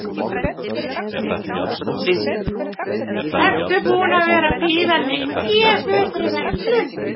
Sindri: Ertu búin að vera að bíða lengi eftir þessari verslun?